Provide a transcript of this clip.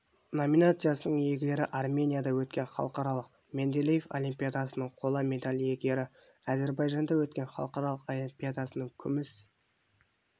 номинациясының иегері арменияда өткен халықаралық менделеев олимпиадасының қола медаль иегері әзірбайжанда өткен халықаралық олимпиадасының күміс